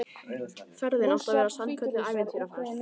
Ferðin átti að verða sannkölluð ævintýraferð